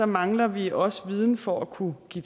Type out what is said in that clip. mangler vi også viden for at kunne give